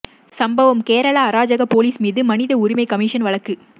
சம்பவம் கேரள அராஜக போலீஸ் மீது மனித உரிமை கமிஷனும் வழக்கு